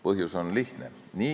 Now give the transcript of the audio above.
Põhjus on lihtne.